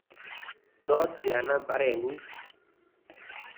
To tyana mpareng'ung'